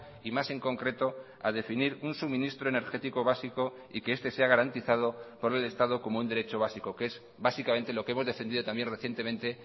y más en concreto a definir un suministro energético básico y que este sea garantizado por el estado como un derecho básico que es básicamente lo que hemos defendido también recientemente